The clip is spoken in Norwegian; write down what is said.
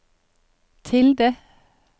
tilde